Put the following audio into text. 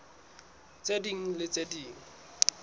tse ding le tse ding